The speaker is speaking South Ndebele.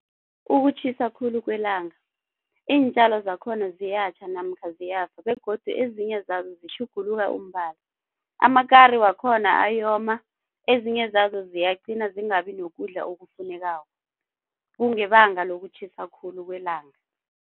Ukutjhisa khulu kwelanga, iintjalo zakhona ziyatjha namkha ziyafa begodu ezinye zazo zitjhuguluka umbala. Amakari wakhona ayoma, ezinye zazo ziyaqina zingabi nokudla okufunekako kungebanga lokutjhisa khulu kwelanga.